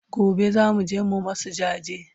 Gobe zamuje mu masu jaje